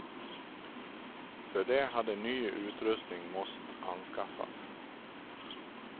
För det hade ny utrustning måst anskaffas.